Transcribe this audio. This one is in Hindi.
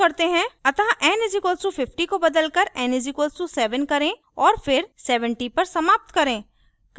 अतः n = 50 को बदलकर n = 7 करें और फिर 70 पर समाप्त करें